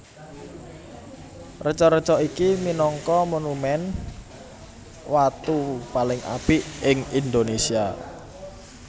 Reca reca iki minangka monumen watu paling apik ing Indonésia